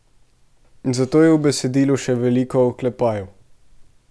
Zato je v besedilu še veliko oklepajev.